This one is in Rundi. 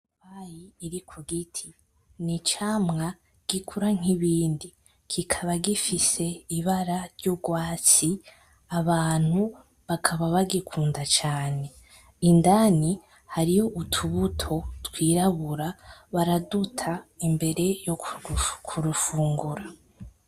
Ipapayi iri kugiti n'icamwa gikura nkibindi, kikaba gifise Ibara ry'urwatsi Abantu bakaba bagikunda cane indani hariyo utubuto twirabura baraduta imbere yokurufungura.